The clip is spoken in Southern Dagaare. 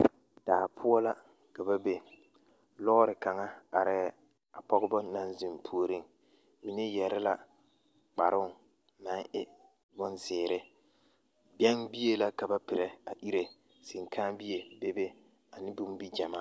Daa poɔ la ka ba be lɔɔre kaŋa arɛɛ pɔgeba naŋ zeŋ puoriŋ mine yɛre la kparoŋ naŋ e bonzeere bɛŋbie la ka ba perɛ a ire senkããbie bebe ane bombigyɛmaa.